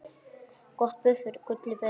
Gott buff er gulli betra.